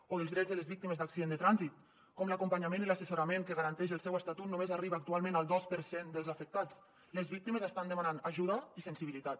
o dels drets de les víctimes d’accident de trànsit de com l’acompanyament i l’assessorament que garanteix el seu estatut només arriba actualment al dos per cent dels afectats les víctimes estan demanant ajuda i sensibilitat